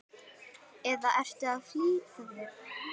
eða ertu að flýta þér?